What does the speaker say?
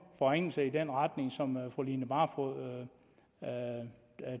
forringelser i den retning som fru line barfod